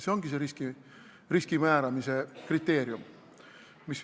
See ongi see riski kindlaksmääramise kriteerium.